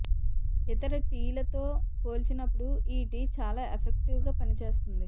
ఇతర టీలతో పోల్చినప్పుడు ఈ టీ చాలా ఎఫెక్టివ్ గా పనిచేస్తుంది